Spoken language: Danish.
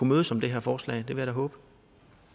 mødes om det her forslag det vil jeg da håbe